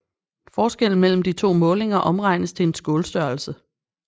Forskellen mellem de to målinger omregnes til en skålstørrelse